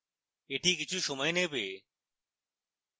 এটি কিছু সময় নেবে